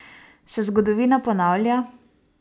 Se zgodovina ponavlja?